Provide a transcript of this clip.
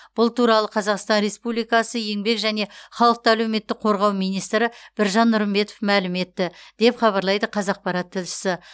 бұл туралы қазақстан республикасы еңбек және халықты әлеуметтік қорғау министрі біржан нұрымбетов мәлім етті деп хабарлайды қазақпарат тілшісі